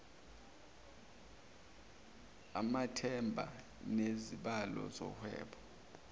amathenda nezibalo zohwebo